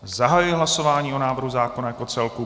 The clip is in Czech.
Zahajuji hlasování o návrhu zákona jako celku.